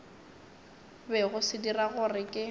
bego se dira gore ke